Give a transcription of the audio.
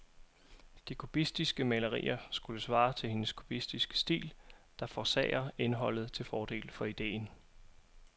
De kubistiske malerier skulle svare til hendes kubistiske stil, der forsager indholdet til fordel for idéen.